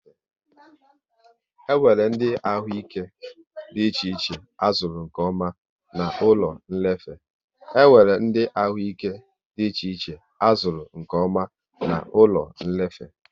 E nwéré ndị ahụ ike dị iche iche a zụrụ nkeọma na ụlọ nlefe